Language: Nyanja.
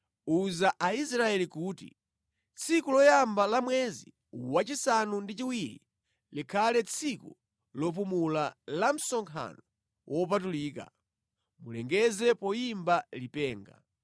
“Uza Aisraeli kuti, ‘Tsiku loyamba la mwezi wachisanu ndi chiwiri, likhale tsiku lopumula, la msonkhano wopatulika, mulilengeze poyimba lipenga.